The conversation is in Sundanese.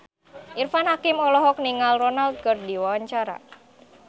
Irfan Hakim olohok ningali Ronaldo keur diwawancara